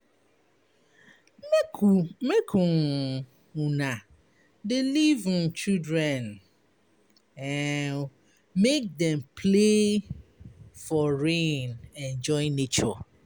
Make um make una dey leave um children um make dem play for rain enjoy nature.